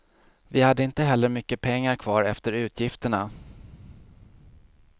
Vi hade inte heller mycket pengar kvar efter utgifterna.